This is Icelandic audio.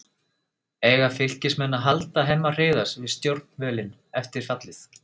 Eiga Fylkismenn að halda Hemma Hreiðars við stjórnvölinn eftir fallið?